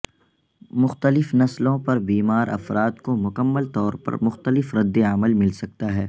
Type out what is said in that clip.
مختلف نسلوں پر بیمار افراد کو مکمل طور پر مختلف ردعمل مل سکتا ہے